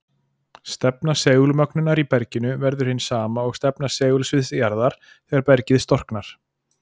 Stefna segulmögnunar í berginu verður hin sama og stefna segulsviðs jarðar þegar bergið storknar.